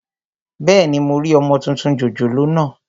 Bẹ́ẹ̀ni, mo rí ọmọ tuntun jòjòló naa